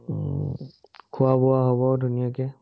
উম খোৱা-বোৱা হব, ধুনীয়াকে